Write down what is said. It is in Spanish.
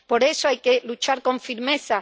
Por eso, hay que luchar con firmeza.